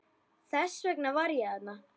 Þess vegna var ég þarna.